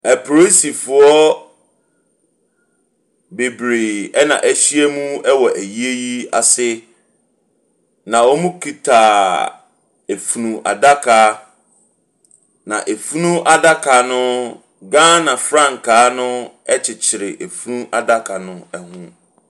Apolisifoɔ bebree ɛna wɔahyia mu wɔ ayie yi ase. Na wɔkita funu adaka. Na funu adaka no Ghana frankaa no kyekyere funu adaka no ho.